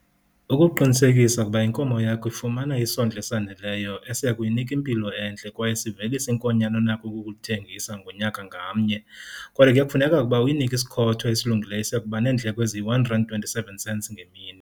Ukuqinisekisa ukuba inkomo yakho ifumana isondlo esaneleyo esiya kuyinika impilo entle kwaye sivelise inkonyana onako ukukulithengisa ngonyaka ngamnye, kodwa ke kufuneka ukuba uyinike isikhotho esilungileyo esiya kuba neendleko ezi-R1,27 ngemini.